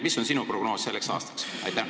Milline on sinu prognoos selleks aastaks?